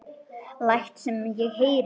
Læt sem ég heyri.